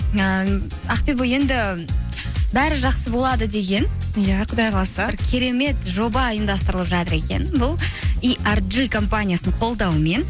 ііі ақбибі енді бәрі жақсы болады деген иә құдай қаласа бір керемет жоба ұйымдастырылып жатыр екен бұл компаниясының қолдауымен